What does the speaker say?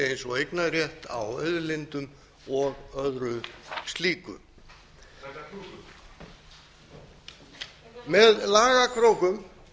eins og eignarrétt á auðlindum og öðru slíku þetta er klúður með lagakrókum